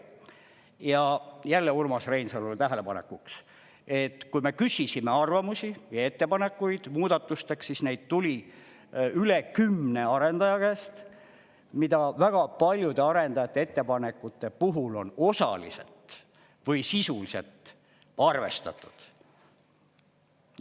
Ja jälle Urmas Reinsalule tähelepanekuks, et kui me küsisime arvamusi ja ettepanekuid muudatusteks, siis neid tuli üle kümne arendaja käest, mida väga paljude arendajate ettepanekute puhul on osaliselt või sisuliselt arvestatud.